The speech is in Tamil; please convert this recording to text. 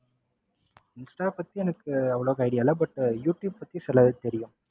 இன்ஸ்டா பத்தி எனக்கு அவ்ளோவா idea இல்ல but யூடுயூப் பத்தி சிலது தெரியும்.